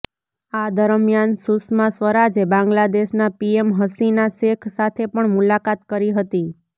આ દરમ્યાન સુષ્મા સ્વરાજે બાંગ્લાદેશના પીએમ હસીના શેખ સાથે પણ મુલાકાત કરી હતી